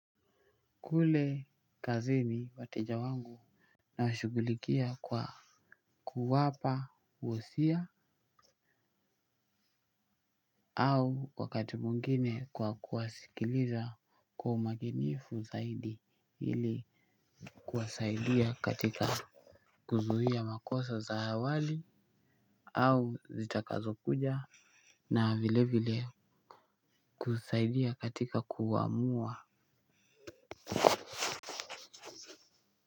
Kule kazini wateja wangu nawashughulikia kwa kuwapa wosia au wakati mwingine kwa kuwasikiliza kwa umakinifu zaidi ili kuwasaidia katika kuzuia makosa za awali au zitakazo kuja na vile vile kusaidia katika kuamua kwa hivyo.